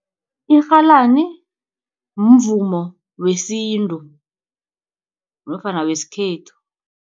Irhalani mvumo wesintu nofana wesikhethu.